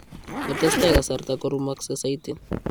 Ngo tesetai kasarta korumakse saiti